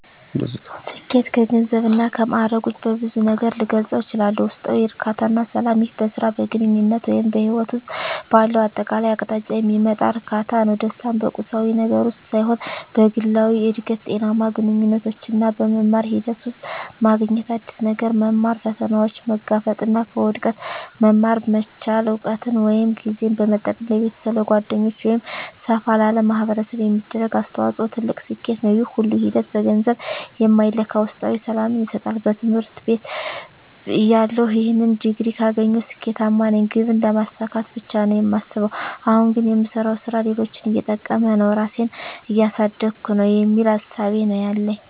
ስኬት ከገንዘብ እና ከማእረግ ውጭ በብዙ ነገር ልገልፀው እችላልሁ። ውስጣዊ እርካታ እና ሰላም ይህ በሥራ፣ በግንኙነት ወይም በሕይወት ውስጥ ባለው አጠቃላይ አቅጣጫ የሚመጣ እርካታ ነው። ደስታን በቁሳዊ ነገር ውስጥ ሳይሆን በግላዊ እድገት፣ ጤናማ ግንኙነቶች እና በመማር ሂደት ውስጥ ማግኘት። አዲስ ነገር መማር፣ ፈተናዎችን መጋፈጥ እና ከውድቀት መማር መቻል። እውቀትን ወይም ጊዜን በመጠቀም ለቤተሰብ፣ ለጓደኞች ወይም ሰፋ ላለ ማኅበረሰብ የሚደረግ አስተዋጽኦ ትልቅ ስኬት ነው። ይህ ሁሉ ሂደት በገንዘብ የማይለካ ውስጣዊ ሰላምን ይሰጣል። በትምህርት ቤትተያለሁ "ይህን ዲግሪ ካገኘሁ ስኬታማ ነኝ" ግብን ስለማሳካት ብቻ ነው የማስበው። አሁን ግን "የምሰራው ሥራ ሌሎችን እየጠቀመ ነው? ራሴን እያሳደግኩ ነው?" የሚል እሳቤ ነው ያለኝ።